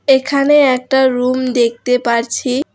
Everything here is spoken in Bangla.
এখানে একটা রুম দেখতে পারছি।